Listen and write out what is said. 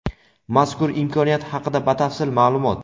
Mazkur imkoniyat haqida batafsil ma’lumot.